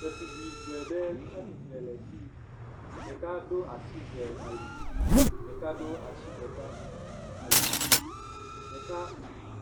Detugbi eve ɖe tsa tsitre le fii. Ɖeka ɖo asi ve ali. Ɖeka ɖo asi ɖeka ali. Ɖeka